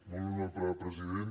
molt honorable president